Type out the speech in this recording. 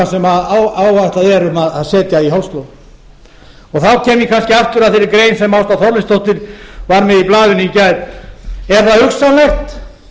sem áætlað er að setja í hálslón þá kem ég kannski aftur að þeirri grein sem ásta þorleifsdóttir var með í blaðinu í gær er það hugsanlegt